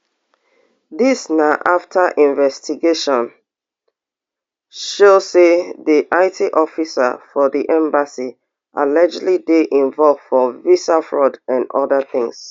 dis na afta investigation show say di it officer for di embassy allegedly dey involved for visa fraud and oda tins